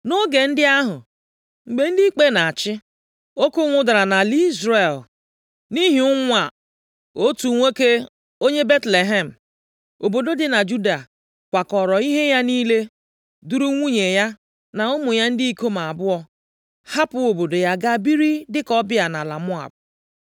Nʼoge ndị ahụ, mgbe ndị ikpe na-achị, oke ụnwụ dara nʼala Izrel. Nʼihi ụnwụ a, otu nwoke, onye Betlehem, obodo dị na Juda, kwakọọrọ ihe ya niile, duru nwunye ya, na ụmụ ya ndị ikom abụọ, hapụ obodo ya gaa biri dịka ọbịa nʼala Moab.